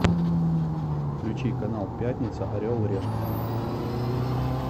включи канал пятница орел и решка